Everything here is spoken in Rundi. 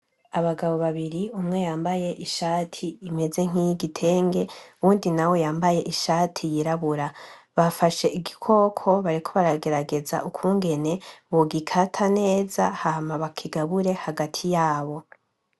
Abagabo babiri umwe yambaye ishati imeze nkiy'igitege uwundi nawe yambaye ishati yirabura, bafashe igikoko bariko baragerageza ukugene bogikata neza hama bakigabure hagati yabo.